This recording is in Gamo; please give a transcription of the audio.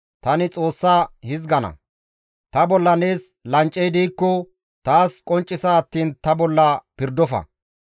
Tani Xoossa hizgana; ta bolla nees lancey diikko taas qonccisa attiin ta bolla pirdofa!